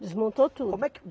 Desmontou tudo. Como é que